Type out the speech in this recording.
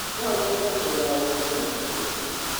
No nyende kũgũra ũũkĩ na itũngũrũ